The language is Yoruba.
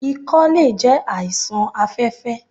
Ikọ́ lè jẹ́ àìsàn afẹ́fẹ́.